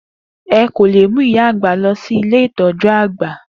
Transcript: E kò lè mú ìyá àgbà lọ si Ilé ìtọ̀jú-àgbà.